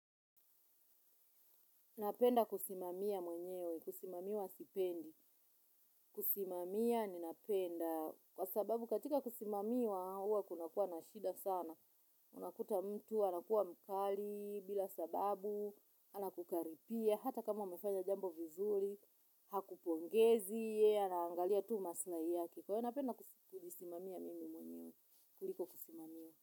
Napenda kusimamia mwenyewe, kusimamiwa sipendi, kusimamia ninapenda, kwa sababu katika kusimamiwa huwa kunakuwa na shida sana, unakuta mtu, anakuwa mkali, bila sababu, anakukaripia, hata kama umefanya jambo vizuri, hakupongezi, anaangalia tu maslahi yake, kwa hivyo napenda kujisimamia mwenyewe, kuliko kusimamiwa.